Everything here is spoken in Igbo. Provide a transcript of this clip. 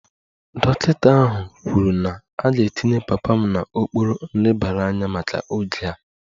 Dọkịta ahụ kwuru na a ga-etinye papa m n'okpuru nlebara anya maka oge a